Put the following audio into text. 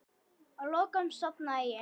Að lokum sofnaði ég.